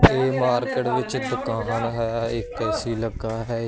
ਇਹ ਮਾਰਕੀਟ ਵਿੱਚ ਦੁਕਾਨ ਹੈ ਇੱਕ ਐ_ਸੀ ਲੱਗਾ ਹੈ।